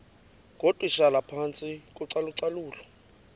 ngootitshala phantsi kocalucalulo